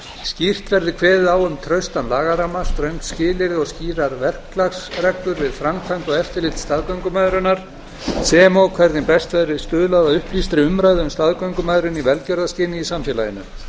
skýrt verði kveðið á um traustan lagaramma ströng skilyrði og skýrar verklagsreglur við framkvæmd og eftirlit staðgöngumæðrunar sem og hvernig best verði stuðlað að upplýstri umræðu um staðgöngumæðrun í velgjörðarskyni í samfélaginu við